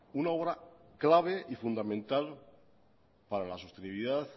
una obra clave y fundamental para la sostenibilidad